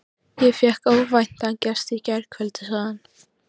Ég fékk óvæntan gest í gærkvöldi, sagði hann.